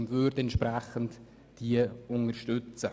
Wir würden diese dementsprechend unterstützen.